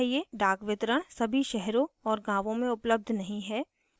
डाकवितरण सभी शहरों और गाँवों में उपलब्ध नहीं है